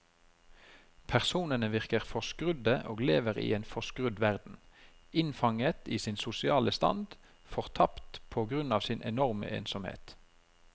Personene virker forskrudde og lever i en forskrudd verden, innfanget i sin sosiale stand, fortapte på grunn av sin enorme ensomhet.